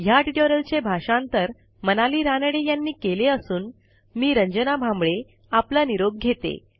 ह्या ट्युटोरियलचे भाषांतर मनाली रानडे यांनी केले असून मी रंजना भांबळे आपला निरोप घेते